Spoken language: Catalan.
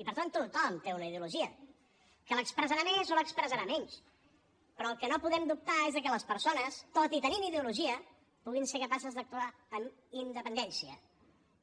i per tant tothom té una ideologia que l’expressarà més o l’expressarà menys però del que no podem dubtar és de que les persones tot i tenint ideologia puguin ser capaces d’actuar amb independència